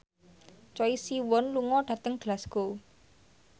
Choi Siwon lunga dhateng Glasgow